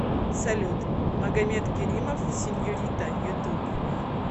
салют магомед керимов сеньорита ютуб